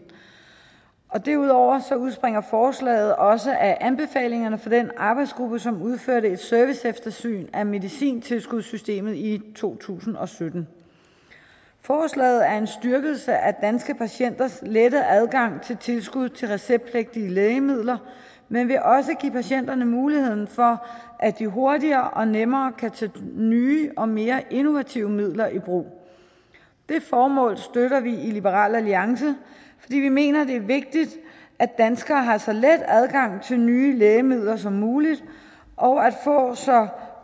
derudover udspringer forslaget også af anbefalingerne fra den arbejdsgruppe som udførte et serviceeftersyn af medicintilskudssystemet i to tusind og sytten forslaget er en styrkelse af danske patienters lette adgang til tilskud til receptpligtige lægemidler men vil også give patienterne muligheden for at de hurtigere og nemmere kan tage nye og mere innovative midler i brug det formål støtter vi i liberal alliance fordi vi mener det er vigtigt at danskere har så let adgang til nye lægemidler som muligt og får så